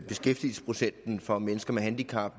beskæftigelsesprocenten for mennesker med handicap